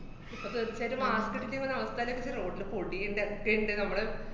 ഇപ്പ തീര്‍ച്ചായിട്ടും mask ഇട്ടിട്ട് അവസ്ഥേല്ക്ക്, road ലെ പൊടീന്‍റെ ക്കെയ്ണ്ട് നമ്മടെ